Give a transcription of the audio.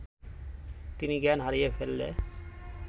তিনি জ্ঞান হারিয়ে ফেললে